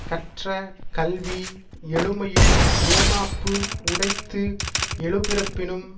கற்ற கல்வி எழுமையும் ஏமாப்பு உடைத்து எழுபிறப்பினும்